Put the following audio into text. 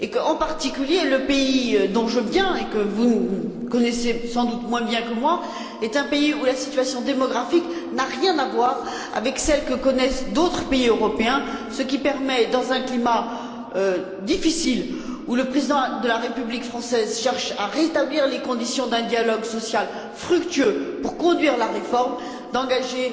En particulier, le pays d'où je viens et que vous connaissez sans doute moins bien que moi, est un pays où la situation démographique n'a rien à voir avec celle que connaissent d'autres pays européens, ce qui permet, dans un climat difficile, où le président de la République française cherche à rétablir les conditions d'un dialogue social fructueux pour conduire la réforme, d'engager